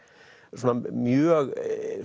svona mjög